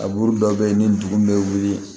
Abu dɔw bɛ yen ni dugu bɛ wuli